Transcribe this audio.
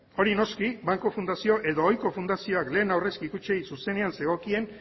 hori noski banku fundazio edo ohiko fundazioak lehen aurrezki kutxei zuzenean zegokien